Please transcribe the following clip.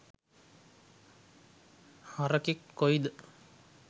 හරකෙක් කොයිද